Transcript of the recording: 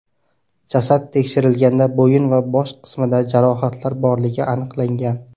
Jasad tekshirilganda bo‘yin va bosh qismida jarohatlar borligi aniqlangan.